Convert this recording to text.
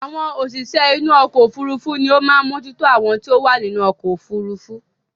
Àwọn òṣìṣẹ́ inú ọkọ̀ òfurufú ní ó máa ń mójú tó àwọn tí ó wà nínú ọkọ̀ òfurufú